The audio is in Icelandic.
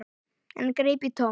En greip í tómt.